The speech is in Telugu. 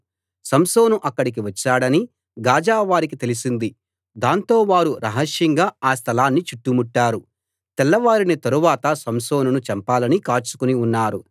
సంసోను అక్కడికి వచ్చాడని గాజా వారికి తెలిసింది దాంతో వారు రహస్యంగా ఆ స్థలాన్ని చుట్టుముట్టారు తెల్లవారిన తరువాత సంసోనును చంపాలని కాచుకుని ఉన్నారు